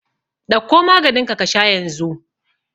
Ɗauko maganinka ka sha yanzu!